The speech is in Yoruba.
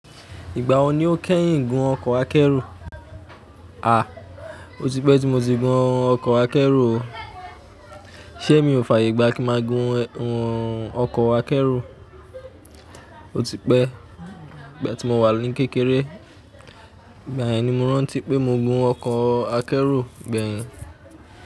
Ìgbà wo ni o kẹ́yìn gun ọkọ̀ akẹ́rù? A! O ti pẹ́ tí mo ti gun ọkọ̀ akẹ́rù o. Iṣé mi ò fààyè gbá kí ma gun ọkọ̀ akẹ́rù O ti pẹ́, ìgbà tí mo wà ní kékeré, ìgbà yẹn ni mo rántí pé mo gun ọkọ̀ akẹ́rù gbẹ̀yìn.